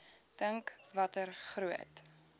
dink watter groot